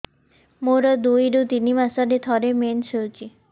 ମୋର ଦୁଇରୁ ତିନି ମାସରେ ଥରେ ମେନ୍ସ ହଉଚି